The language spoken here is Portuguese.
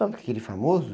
Aquele famoso?